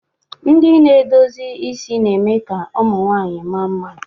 Ndị na-edozi isi na-eme ka ụmụ nwanyị mma mma.